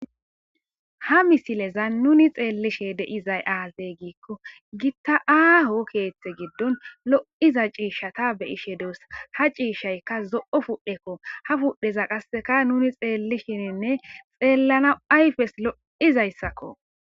Ha misileza nuni xeellishe de'izay aazey giikko gitta aaho keeththe giddon lo'iza ciishshata beyishe duesa ha ciishshayka zo'o fudhekko ha fudheza qasseka nuni xeellishininne xeellana ayfes lo7izayssakko.